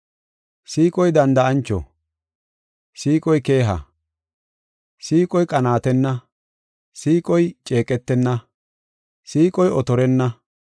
Siiqoy danda7ancho. Siiqoy keeha. Siiqoy qanaatenna. Siiqoy ceeqetenna. Siiqoy otorenna.